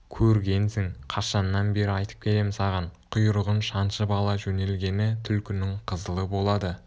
көргенсің қашаннан бері айтып келем саған құйрығын шаншып ала жөнелгені түлкінің қызылы болады